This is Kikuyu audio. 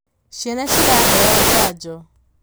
ciana ciraheo janjo